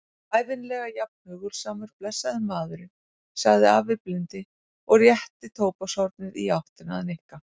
Ævinlega jafn hugulsamur, blessaður maðurinn sagði afi blindi og rétti tóbakshornið í áttina að Nikka.